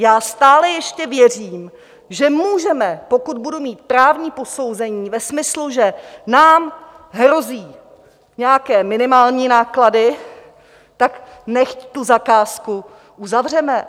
Já stále ještě věřím, že můžeme, pokud budu mít právní posouzení ve smyslu, že nám hrozí nějaké minimální náklady, tak nechť tu zakázku uzavřeme.